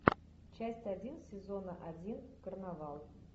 часть один сезона один карнавал